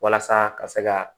Walasa ka se ka